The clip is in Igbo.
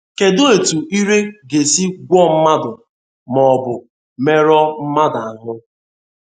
Kedụ etú ire ga esi gwọọ mmadụ ma ọ bụ merụọ mmadụ ahụ́?